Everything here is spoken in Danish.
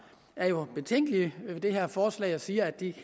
er jo betænkelige ved det her forslag og siger at de